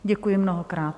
Děkuji mnohokrát.